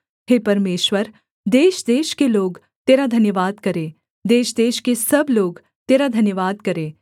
हे परमेश्वर देशदेश के लोग तेरा धन्यवाद करें देशदेश के सब लोग तेरा धन्यवाद करें